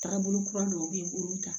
Taagabolo kura dɔw bɛ yen olu ta